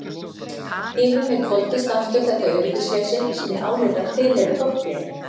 Yfir mig hvolfdist aftur þetta öryggisleysi sem ég áleit að tilheyrði fortíðinni.